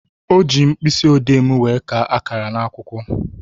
O ji mkpịsịodee m wee kaa akara ya n'akwụkwọ